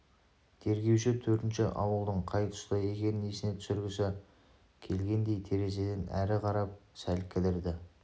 тергеуші төртінші ауылдың қай тұста екенін есіне түсіргісі келгендей терезеден әрі қарап сәл кідірді